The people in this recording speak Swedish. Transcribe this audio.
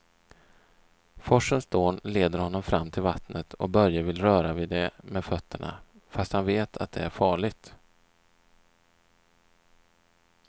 Forsens dån leder honom fram till vattnet och Börje vill röra vid det med fötterna, fast han vet att det är farligt.